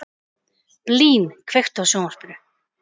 Blín, kveiktu á sjónvarpinu.